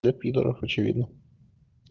для пидоров очевидно